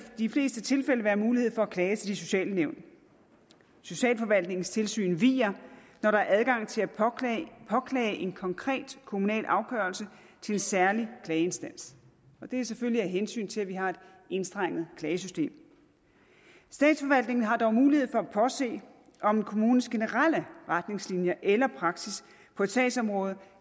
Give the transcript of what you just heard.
de fleste tilfælde være mulighed for at klage til de sociale nævn socialforvaltningens tilsyn viger når der er adgang til at påklage en konkret kommunal afgørelse til en særlig klageinstans det er selvfølgelig af hensyn til at vi har et enstrenget klagesystem statsforvaltningen har dog mulighed for at påse om kommunens generelle retningslinjer eller praksis på et sagsområde